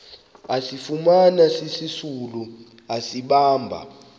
asifumana sisisulu asibamba